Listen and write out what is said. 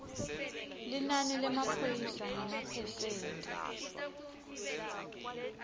linani lemaphoyisa ngemaphesenti